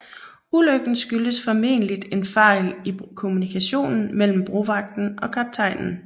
Ulykken skyldes formentlig en fejl i kommunikationen mellem brovagten og kaptajnen